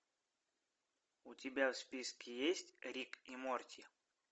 у тебя в списке есть рик и морти